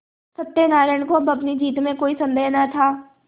सत्यनाराण को अब अपनी जीत में कोई सन्देह न था